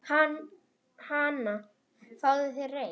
Hana, fáðu þér reyk